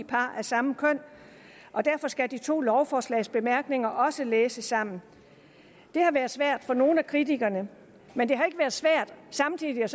par af samme køn og derfor skal de to lovforslags bemærkninger også læses sammen det har været svært for nogle af kritikerne men det har ikke været svært samtidig at